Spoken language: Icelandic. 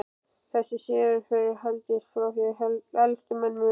Þessi siður hefur haldist frá því elstu menn muna.